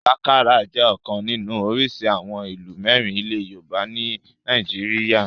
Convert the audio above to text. Sakara jẹ́ ọ̀kan nínú orísìí àwọn ìlù mẹ́rin ilẹ̀ yoòbá ní nàìjíríyà